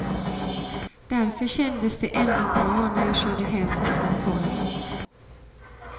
Därför kändes det ändå bra när jag körde hem ifrån kollot.